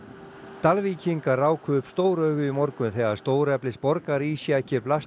Dalvíkingar ráku upp stór augu í morgun þegar stóreflis borgarísjaki blasti